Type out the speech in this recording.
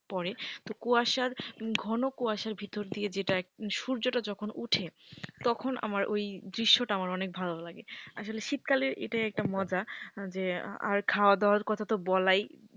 পড়ে তো কুয়াশার ঘন কুয়াশার ভিতর দিয়ে সূর্যটা যখন উঠে তখন আমার ওই দৃশ্যটা আমার অনেক ভালো লাগে। আসলে শীতকালে এটাই একটা মজা যে আর আর খাওয়া দাওয়ার কথা তো বলাই